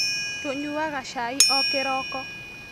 Tũnyuaga cai o kĩroko